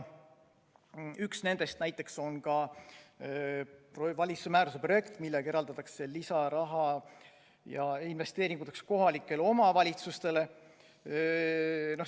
Üks nendest näiteks on valitsuse määruse projekt, millega eraldatakse lisaraha investeeringuteks kohalikele omavalitsustele.